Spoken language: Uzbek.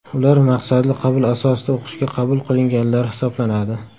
Ular maqsadli qabul asosida o‘qishga qabul qilinganlar hisoblanadi.